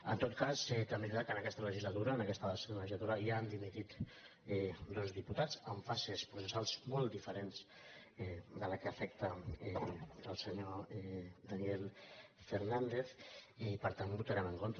en tot cas també és veritat que en aquesta legislatu·ra en aquesta legislatura ja han dimitit dos dipu·tats en fases processals molt diferents de la que afec·ta al senyor daniel fernández i per tant hi votarem en contra